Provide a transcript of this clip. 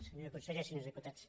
senyor conseller senyors diputats